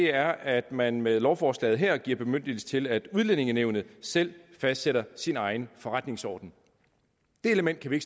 er at man med lovforslaget her giver bemyndigelse til at udlændingenævnet selv fastsætter sin egen forretningsorden det element kan